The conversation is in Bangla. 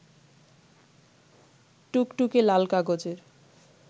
টুকটুকে লাল কাগজের